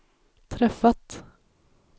träffat